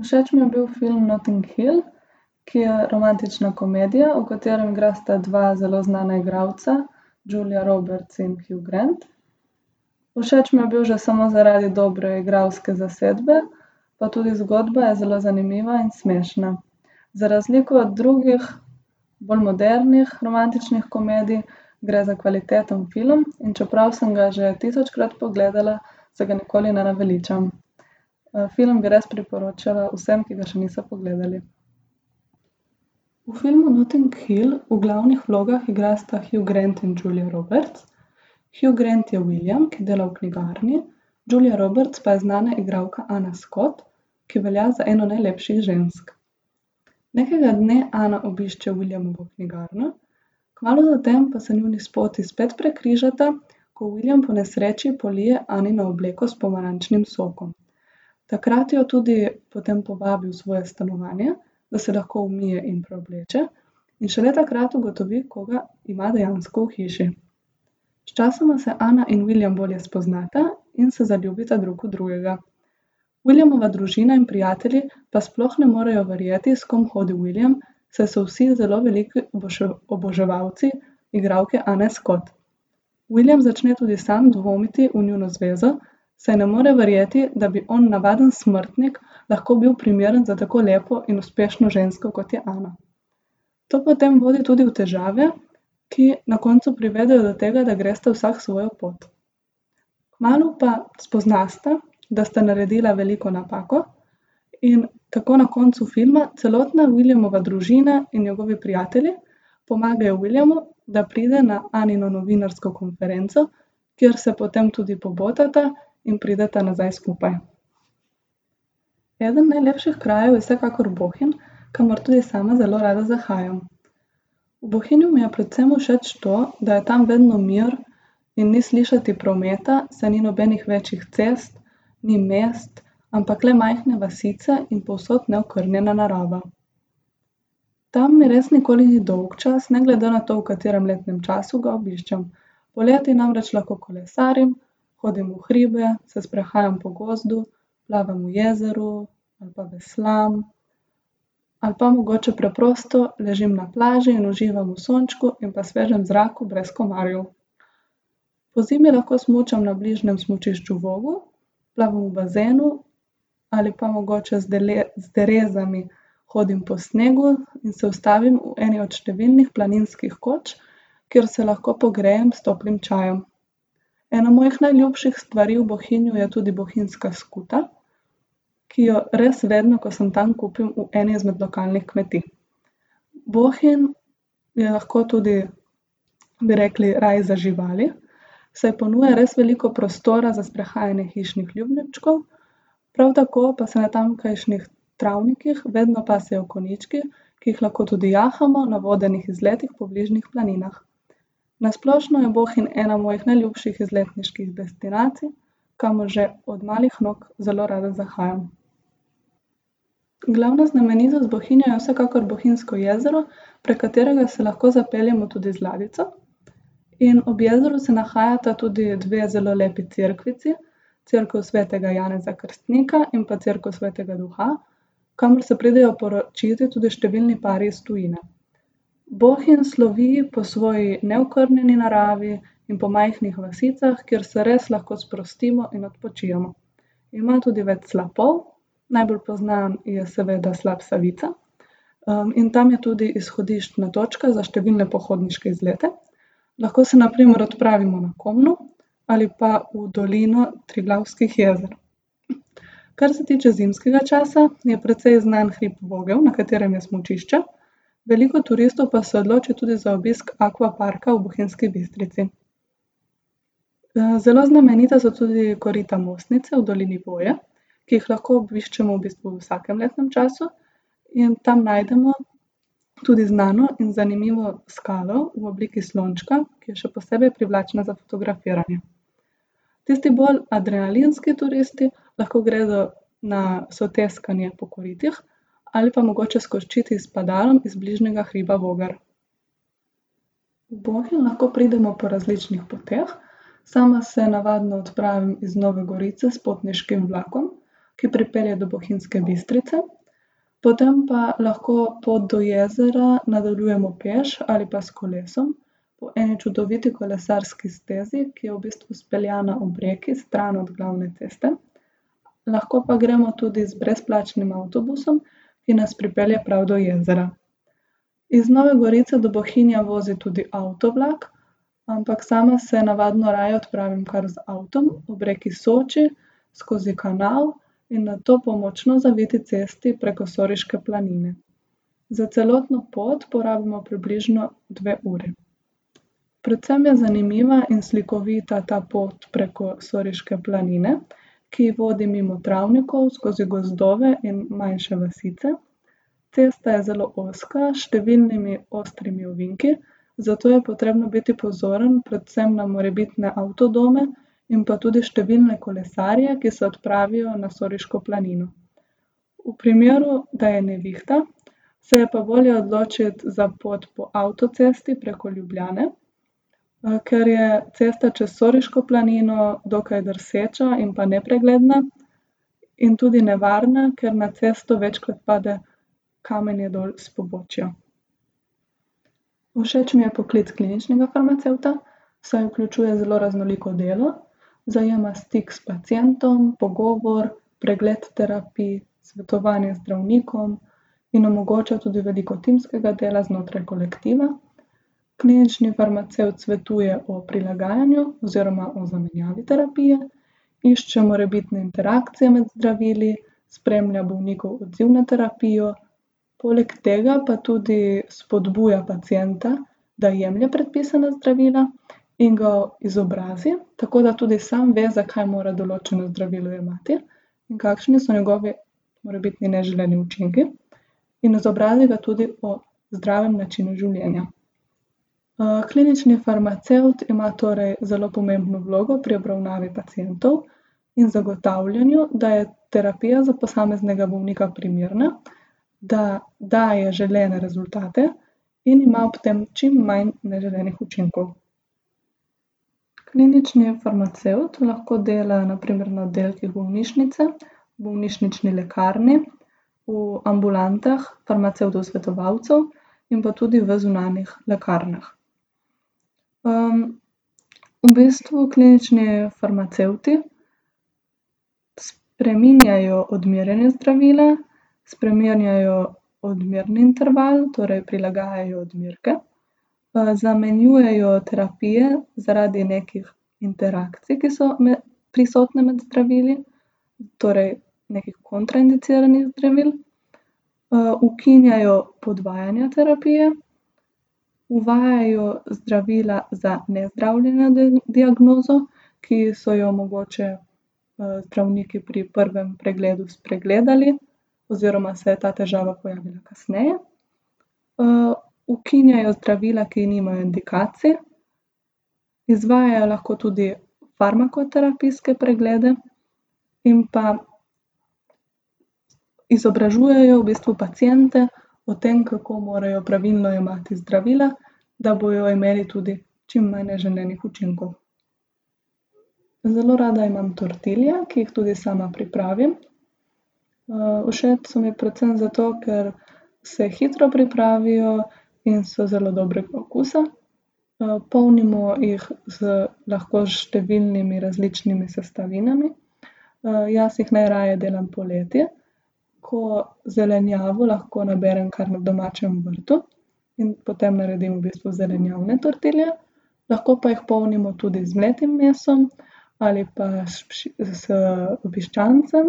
Všeč mi je bil film Notting Hill, ki je romantična komedija, v kateri igrata dva zelo znana igralca, Julia Roberts in Hugh Grant. Všeč mi je bil že samo zaradi dobre igralske zasedbe, pa tudi zgodba je zelo zanimiva in smešna. Za razliko od drugih, bolj modernih romantičnih komedij gre za kvaliteten film. In čeprav sem ga že tisočkrat pogledala, se ga nikoli ne naveličam. film bi res priporočala vsem, ki ga še niso pogledali. V filmu Notting Hill v glavnih vlogah igrata Hugh Grant in Julia Roberts. Hugh Grant je William, ki dela v knjigarni, Julia Roberts pa je znana igralka Anna Scott, ki velja za eno najlepših žensk. Nekega dne Anna obišče Williamovo knjigarno, kmalu zatem pa se njuni poti spet prekrižata, ko William po nesreči polije Annino obleko s pomarančnim sokom. Takrat jo tudi potem povabi v svoje stanovanje, da se lahko umije in preobleče, in šele takrat ugotovi, koga ima dejansko v hiši. Sčasoma se Anna in William bolje spoznata in se zaljubita drug v drugega. Williamova družina in prijatelji pa sploh ne morejo verjeti, s kom hodi William, saj so vsi zelo veliki oboževalci igralke Anne Scott. William začne tudi sam dvomiti v njuno zvezo, saj ne more verjeti, da bi on, navaden smrtnik, lahko bil primeren za tako lepo in uspešno žensko, kot je Anna. To potem vodi tudi v težave, ki na koncu privedejo do tega, da gresta vsak svojo pot. Kmalu pa spoznata, da sta naredila veliko napako in tako na koncu filma celotna Williamova družina in njegovi prijatelji pomagajo Williamu, da pride na Annino novinarsko konferenco, kjer se potem tudi pobotata in prideta nazaj skupaj. Eden najlepših krajev je vsekakor Bohinj, kamor tudi sama zelo rada zahajam. V Bohinju mi je predvsem všeč to, da je tam vedno mir in ni slišati prometa, saj ni nobenih večjih cest, ni mest, ampak le majhna vasica in povsod neokrnjena narava. Tam mi res nikoli ni dolgčas, ne glede na to, v katerem letnem času ga obiščem. Poleti namreč lahko kolesarim, hodim v hribe, se sprehajam po gozdu, plavam v jezeru ali pa veslam. Ali pa mogoče preprosto ležim na plaži in uživam v sončku in pa svežem zraku brez komarjev. Pozimi lahko smučam na bližnjem smučišču Vogel, plavam v bazenu ali pa mogoče z z derezami hodim po snegu in se ustavim v eni od številnih planinskih koč, kjer se lahko pogrejem s toplim čajem. Ena mojih najljubših stvari v Bohinju je tudi bohinjska skuta, ki jo res vedno, ko sem tam, kupim v eni izmed lokalnih kmetij. Bohinj je lahko tudi, bi rekli, raje za živali, saj ponuja res veliko prostora za sprehajanje hišnih ljubljenčkov, prav tako pa se na tamkajšnjih travnikih vedno pasejo konjički, ki jih lahko tudi jahamo na vodenih izletih po bližnjih planinah. Na splošno je Bohinj ena mojih najljubših izletniških destinacij, kamor že od malih nog zelo rada zahajam. Glavna znamenitost Bohinja je vsekakor Bohinjsko jezero, prek katerega se lahko zapeljemo tudi z ladjico. In ob jezeru se nahajata tudi dve zelo lepi cerkvici, cerkev svetega Janeza Krstnika in pa cerkev svetega duha, kamor se pridejo poročit tudi številni pari iz tujine. Bohinj slovi po svoji neokrnjeni naravi in po majhnih vasicah, kjer se res lahko sprostimo in odpočijemo. Ima tudi več slapov, najbolj poznan je seveda slap Savica, in tam je tudi izhodiščna točka za številne pohodniške izlete. Lahko se na primer odpravimo na Komno ali pa v Dolino Triglavskih jezer. Kar se tiče zimskega časa, je precej znan hrib Vogel, na katerem je smučišče, veliko turistov pa se odloči tudi za obisk Akvaparka v Bohinjski Bistrici. zelo znamenita so tudi korita Mostnice v dolini Voje, ki jih lahko obiščemo v bistvu v vsakem letnem času. In tam najdemo tudi znano in zanimivo skalo v obliki slončka, ki je še posebej privlačna za fotografiranje. Tisti bolj adrenalinski turisti lahko gredo na soteskanje po koritih ali pa mogoče skočit s padalom iz bližnjega hriba Vogar. V Bohinj lahko pridemo po različnih poteh, sama se navadno odpravim iz Nove Gorice s potniškim vlakom, ki pripelje do Bohinjske Bistrice. Potem pa lahko pot do jezera nadaljujemo peš ali pa s kolesom po eni čudoviti kolesarski stezi, ki je v bistvu speljana ob reki, stran od glavne ceste. Lahko pa gremo tudi z brezplačnim avtobusom, ki nas pripelje prav do jezera. Iz Nove Gorice do Bohinja vozi tudi avtovlak, ampak sama se navadno raje odpravim kar z avtom ob reki Soči skozi Kanal in nato po močno zaviti cesti preko Soriške planine. Za celotno pot porabimo približno dve uri. Predvsem je zanimiva in slikovita ta pot preko Soriške planine, ki vodi mimo travnikov, skozi gozdove in manjše vasice. Cesta je zelo ozka, s številnimi ostrimi ovinki, zato je potrebno biti pozoren predvsem na morebitne avtodome in pa tudi številne kolesarje, ki se odpravijo na Soriško planino. V primeru, da je nevihta, se je pa bolje odločiti za pot po avtocesti preko Ljubljane, ker je cesta čez Soriško planino dokaj drseča in pa nepregledna in tudi nevarna, ker na cesto večkrat pade kamenje dol s pobočja. Všeč mi je poklic kliničnega farmacevta, saj vključuje zelo raznoliko delo, zajema stik s pacientom, pogovor, pregled terapij, svetovanje zdravnikom in omogoča tudi veliko timskega dela znotraj kolektiva. Klinični farmacevt svetuje o prilagajanju oziroma o zamenjavi terapije, išče morebitne interakcije med zdravili, spremlja bolnikov odziv na terapijo. Poleg tega pa tudi spodbuja pacienta, da jemlje predpisana zdravila in ga izobrazi, tako da tudi sam ve, zakaj mora določeno zdravilo jemati in kakšni so njegovi morebitni neželeni učinki. In izobrazi ga tudi o zdravem načinu življenja. klinični farmacevt ima torej zelo pomembno vlogo pri obravnavi pacientov in zagotavljanju, da je terapija za posameznega bolnika primerna, da daje želene rezultate in ima ob tem čim manj neželenih učinkov. Klinični farmacevt lahko dela na primer na oddelkih bolnišnice, v bolnišnični lekarni, v ambulantah farmacevtov svetovalcev in pa tudi v zunanjih lekarnah. v bistvu klinični farmacevti spreminjajo odmerjanje zdravila, spreminjajo odmerni interval, torej prilagajajo odmerke, zamenjujejo terapije zaradi nekih interakcij, ki so prisotne med zdravili, torej nekih kontraindiciranih zdravil. ukinjajo podvajanje terapije, uvajajo zdravila za nezdravljeno diagnozo, ki so jo mogoče, zdravniki pri prvem pregledu spregledali oziroma se je ta težava pojavila kasneje. ukinjajo zdravila, ki nimajo indikacij, izvajajo lahko tudi farmakoterapijske preglede in pa izobražujejo v bistvu paciente o tem, kako morajo pravilno jemati zdravila, da bojo imeli tudi čim manj neželenih učinkov. Zelo rada imam tortilje, ki jih tudi sama pripravim. všeč so mi predvsem zato, ker se hitro pripravijo in so zelo dobrega okusa. polnimo jih z lahko s številnimi različnimi sestavinami. jaz jih najraje delam poleti, ko zelenjavo lahko naberem kar na domačem vrtu. In potem naredim v bistvu zelenjavne tortilje. Lahko pa jih polnimo tudi z mletim mesom ali pa s s piščancem,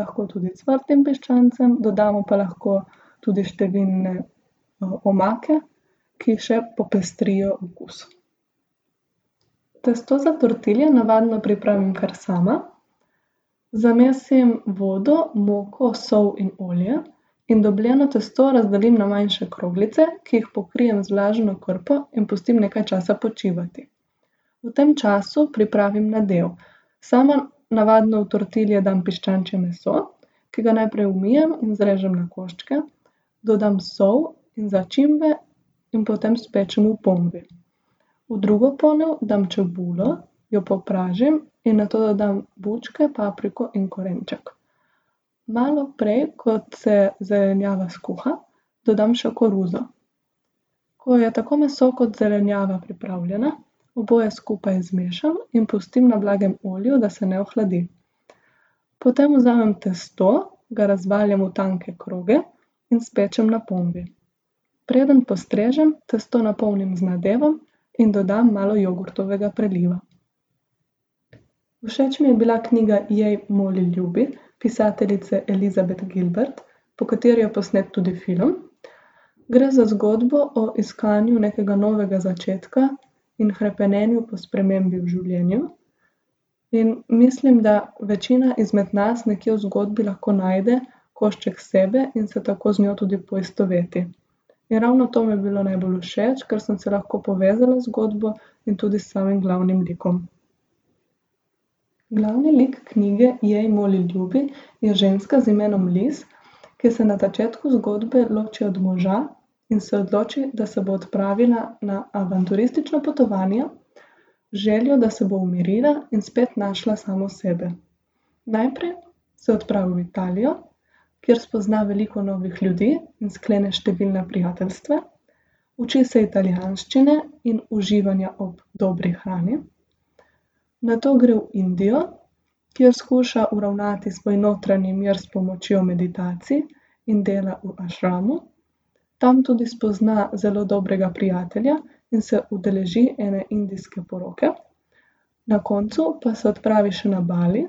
lahko tudi ocvrtim piščancem. Dodamo pa lahko tudi številne, omake, ki še popestrijo okus. Testo za tortilje navadno pripravim kar sama. Zamesim vodo, moko, sol in olje in dobljeno tisto razdelim na manjše kroglice, ki jih pokrijem z vlažno krpo in pustim nekaj časa počivati. V tem času pripravim nadev. Sama navadno v tortilje dam piščančje meso, ki ga najprej umijem, razrežem na koščke, dodam sol in začimbe in potem spečem v ponvi. V drugo ponev dam čebulo, jo popražim in nato dodam bučke, papriko in korenček. Malo prej, kot se zelenjava skuha, dodam še koruzo. Ko je tako meso kot zelenjava pripravljena, oboje skupaj zmešam in pustim na blagem ognju, da se ne ohladi. Potem vzamm testo, ga razvaljam v tanke kroge in spečem na ponvi. Preden postrežem, testo napolnim z nadevom in dodam malo jogurtovega priliva. Všeč mi je bila knjiga Jej, moli, ljubi pisateljice Elizabeth Gilbert, po kateri je posnet tudi film. Gre za zgodbo o iskanju nekega novega začetka in hrepenenju po spremembi v življenju. In mislim, da večina izmed nas nekje v zgodbi lahko najde košček sebe in se tako z njo tudi poistoveti. In ravno to mi je bilo najbolj všeč, ker sem se lahko povezala z zgodbo in tudi s samim glavnim likom. Glavni lik knjige Jej, moli, ljubi je ženska z imenom Liz, ki se na začetku zgodbe loči od moža in se odloči, da se bo odpravila na avanturistično potovanje z željo, da se bo umirila in spet našla samo sebe. Najprej se odpravi v Italijo, kjer spozna veliko novih ljudi in sklene številna prijateljstva. Uči se italijanščine in uživanja ob dobri hrani. Nato gre v Indijo, kjer skuša uravnati svoj notranji mir s pomočjo meditacij in dela v ašramu. Tam tudi spozna zelo dobrega prijatelja in se udeleži ene indijske poroke. Na koncu pa se odpravi še na Bali.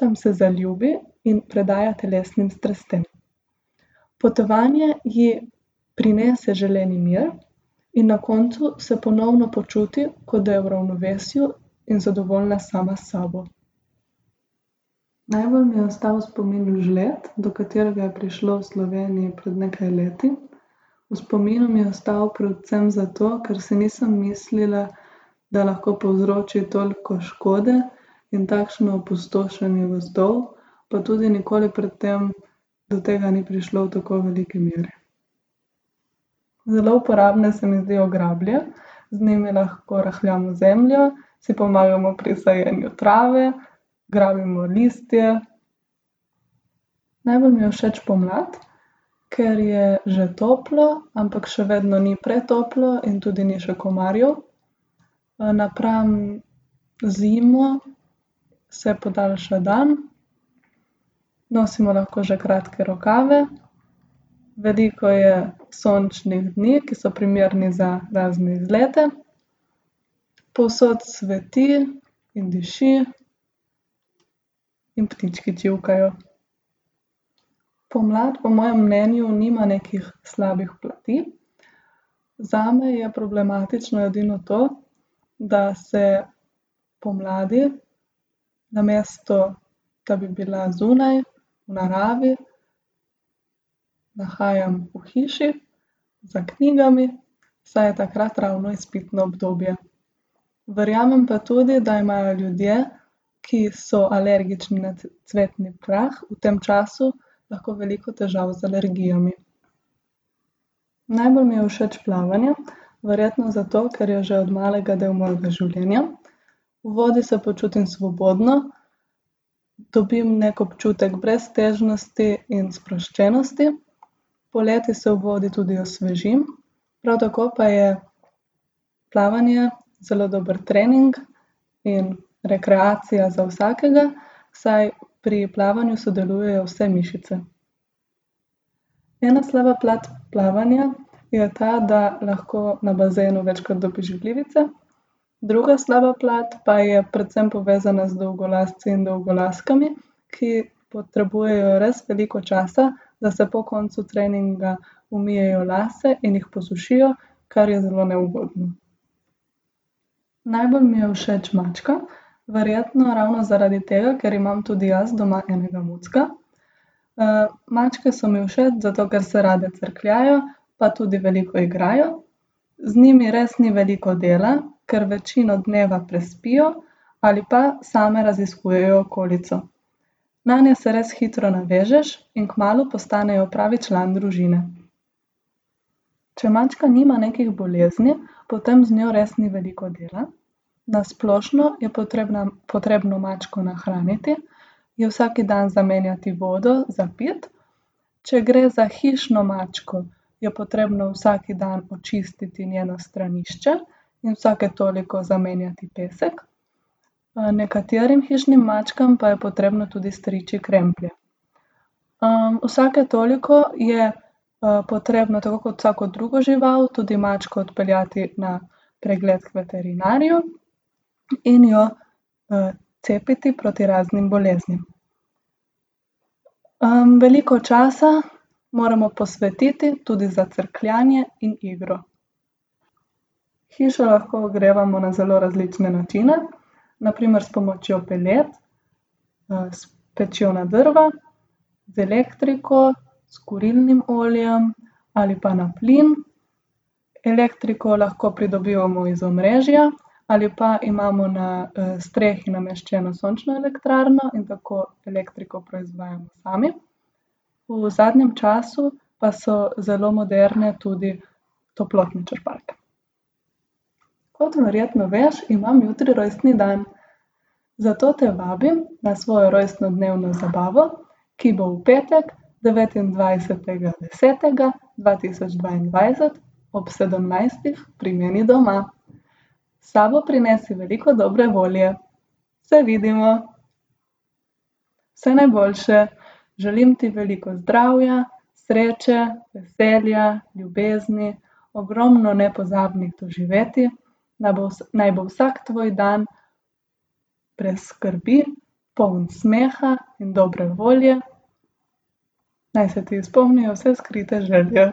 Tam se zaljubi in predaja telesnim strastem. Potovanje ji prinese želeni mir in na koncu se ponovno počuti, kot da je v ravnovesju in zadovoljna sama s sabo. Najbolj mi je ostal v spominu žled, do katerega je prišlo v Sloveniji pred nekaj leti. V spominu mi je ostal predvsem zato, ker si nisem mislila, da lahko povzroči toliko škode in takšno opustošenje gozdov, pa tudi nikoli pred tem do tega ni prišlo v tako veliki meri. Zelo uporabne se mi zdijo grablje. Z njimi lahko rahljamo zemljo, si pomagamo pri sajenju trave, grabimo listje. Najbolj mi je všeč pomlad, ker je že toplo, ampak še vedno ni pretoplo in tudi ni še komarjev. napram zimi se podaljša dan, nosimo lahko že kratke rokave, veliko je sončnih dni, ki so primerni za razne izlete. Povsod cveti in diši. In ptički čivkajo. Pomlad po mojem mnenju nima nekih slabih plati. Zame je problematično edino to, da se pomladi, namesto da bi bila zunaj, v naravi, nahajam v hiši, za knjigami, saj je takrat ravno izpitno obdobje. Verjamem pa tudi, da imajo ljudje, ki so alergični na cvetni prah, v tem času lahko veliko težav z alergijami. Najbolj mi je všeč plavanje. Verjetno zato, ker je že od malega del mojega življenja. V vodi se počutim svobodno, dobim neki občutek breztežnosti in sproščenosti. Poleti se v vodi tudi osvežim, prav tako pa je plavanje zelo dober trening in rekreacija za vsakega, saj pri plavanju sodelujejo vse mišice. Ena slaba plat plavanja je ta, da lahko na bazenu večkrat dobiš glivice, druga slaba plat pa je predvsem povezana z dolgolasci in dolgolaskami, ki potrebujejo res veliko časa, da se po koncu treninga umijejo lase in jih posušijo, kar je zelo neugodno. Najbolj mi je všeč mačka. Verjetno ravno zaradi tega, ker imam tudi jaz doma enega mucka. mačke so mi všeč zato, ker se rade crkljajo pa tudi veliko igrajo. Z njimi res ni veliko dela, kar večino dneva prespijo ali pa same raziskujejo okolico. Nanje se res hitro navežeš in kmalu postanejo pravi član družine. Če mačka nima nekih bolezni, potem z njo res ni veliko dela. Na splošno je potrebna, potrebno mačko nahraniti, ji vsaki dan zamenjati vodo za piti. Če gre za hišno mačko, je potrebno vsaki dan očistiti njeno stranišče in vsake toliko zamenjati pesek, nekaterim hišnim mačkam pa je potrebno tudi striči kremplje. vsake toliko je, potrebno, tako kot vsako drugo žival, tudi mačko odpeljati na pregled k veterinarju in jo, cepiti proti raznim boleznim. veliko časa moramo posvetiti tudi za crkljanje in igro. Hišo lahko ogrevamo na zelo različne načine, na primer s pomočjo pelet, s pečjo na drva, z elektriko, s kurilnim oljem ali pa na plin. Elektriko lahko pridobivamo iz omrežja ali pa imamo na, strehi nameščeno sončno elektrarno in tako elektriko proizvajamo sami. V zadnjem času pa so zelo moderne tudi toplotne črpalke. Kot verjetno veš, imam jutri rojstni dan. Zato te vabim na svojo rojstnodnevno zabavo, ki bo v petek, devetindvajsetega desetega dva tisoč dvaindvajset ob sedemnajstih pri meni doma. S sabo prinesi veliko dobre volje. Se vidimo. Vse najboljše. Želim ti veliko zdravja, sreče, veselja, ljubezni, ogromno nepozabnih doživetij. Naj bo naj bo vsak tvoj dan brez skrbi, poln smeha in dobre volje. Naj se ti izpolnijo vse skrite želje.